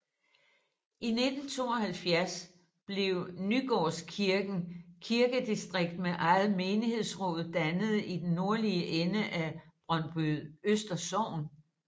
I 1972 blev Nygårdskirken kirkedistrikt med eget menighedsråd dannet i den nordlige ende af Brøndbyøster Sogn